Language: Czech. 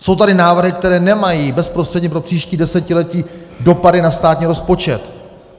Jsou tady návrhy, které nemají bezprostředně pro příští desetiletí dopady na státní rozpočet.